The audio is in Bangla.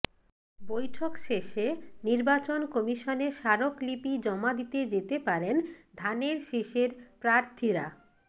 বৈঠক শেষে নির্বাচন কমিশনে স্মারকলিপি জমা দিতে যেতে পারেন ধানের শীষের প্রার্থীরা